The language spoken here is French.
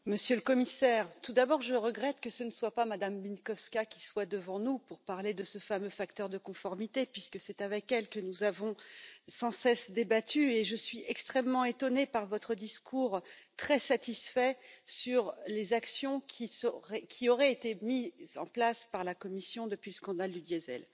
Madame la Présidente, Monsieur le Commissaire, tout d'abord, je regrette que ce ne soit pas Mme Bieńkowska qui soit devant nous pour parler de ce fameux facteur de conformité puisque c'est avec elle que nous avons sans cesse débattu et je suis extrêmement étonnée par votre discours, très satisfait, sur les actions qui auraient été mises en place par la Commission depuis le scandale du diesel.